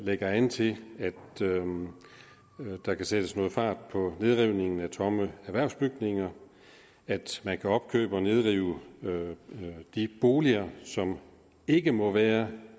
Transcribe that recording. lægger an til at der kan sættes noget fart på nedrivningen af tomme erhvervsbygninger at man kan opkøbe og nedrive de boliger som ikke må være